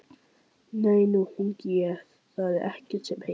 Nei, nú hringi ég, það er ekkert sem heitir!